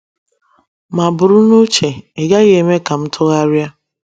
Ma bụrụ na uche, ịgaghi eme kam ntụgharịa